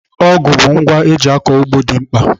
Ọgụ ngwa eji akọ ugbo dị mkpa.